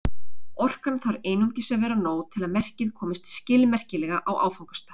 Orkan þarf einungis að vera nóg til að merkið komist skilmerkilega á áfangastað.